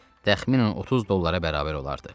Təxminən 30 dollara bərabər olardı.